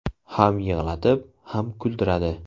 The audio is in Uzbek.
Ham yig‘latib, ham kuldiradi.